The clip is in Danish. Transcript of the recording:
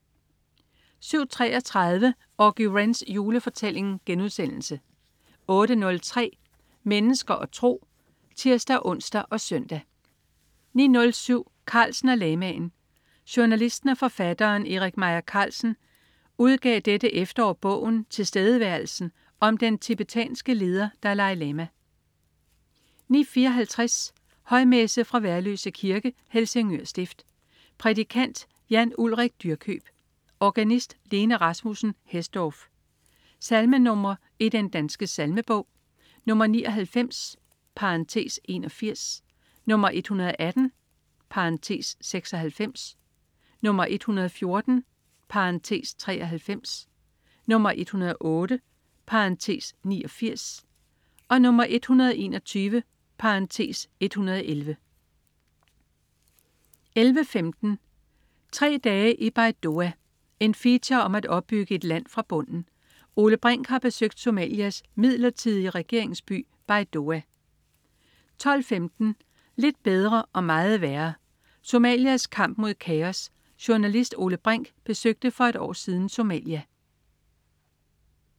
07.33 Auggie Wrens julefortælling* 08.03 Mennesker og tro (tirs-ons og søn) 09.07 Carlsen og lamaen. Journalisten og forfatteren Erik Meier Carlsen udgav dette efterår bogen "Tilstedeværelsen" om den tibetanske leder Dalai Lama 09.54 Højmesse. Fra Værløse Kirke. Helsingør Stift. Prædikant: Jan Ulrik Dyrkjøb. Organist: Lene Rasmussen Hesdorf. Salmenr. i Den Danske Salmebog: 99 (81), 118 (96), 114 (93), 108 (89), 121 (111) 11.15 Tre dage i Baidoa. En feature om at opbygge et land fra bunden. Ole Brink har besøgt Somalias midlertidige regeringsby, Baidoa 12.15 Lidt bedre og meget værre. Somalias kamp mod kaos. Journalist Ole Brink besøgte for et år siden Somalia